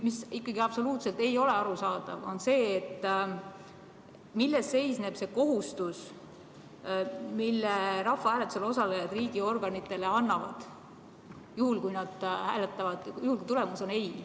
Mis ikkagi absoluutselt ei ole arusaadav, on see, milles seisneb see kohustus, mille rahvahääletusel osalejad riigiorganitele annavad, juhul kui tulemus on ei.